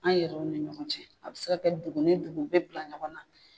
An yɛrɛw ni ɲɔgɔn cɛ a bi se ka kɛ dugu ni dugu u bɛ bila ɲɔgɔn na.